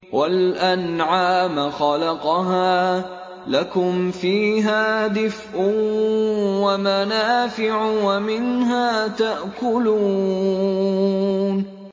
وَالْأَنْعَامَ خَلَقَهَا ۗ لَكُمْ فِيهَا دِفْءٌ وَمَنَافِعُ وَمِنْهَا تَأْكُلُونَ